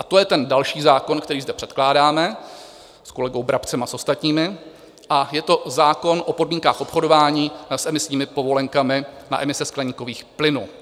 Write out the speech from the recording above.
A to je ten další zákon, který zde předkládáme s kolegou Brabcem a s ostatními, a je to zákon o podmínkách obchodování s emisními povolenkami na emise skleníkových plynů.